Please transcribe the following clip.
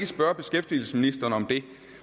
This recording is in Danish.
spørge beskæftigelsesministeren om det